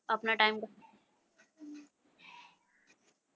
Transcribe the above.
ਆਪਣਾ ਟਾਈਮ।